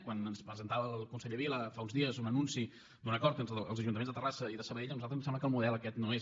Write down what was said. quan ens presentava el conseller vila fa uns dies un anunci d’un acord entre els ajuntaments de terrassa i de sabadell a nosaltres ens sembla que el model aquest no és